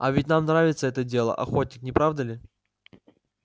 а ведь нам нравится это дело охотник не правда ли